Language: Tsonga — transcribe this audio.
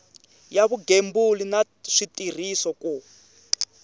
ya vugembuli na switirhiso ku